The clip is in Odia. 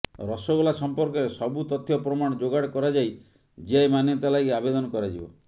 ରସଗୋଲା ସମ୍ପର୍କରେ ସବୁ ତଥ୍ୟ ପ୍ରମାଣ ଯୋଗାଡ଼ କରାଯାଇ ଜିଆଇ ମାନ୍ୟତା ଲାଗି ଆବେଦନ କରାଯିବ